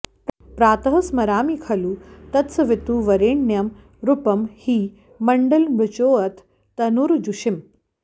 प्रातः स्मरामि खलु तत्सवितुर्वरेण्यं रूपं हि मण्डलमृचोऽथ तनुर्यजूंषि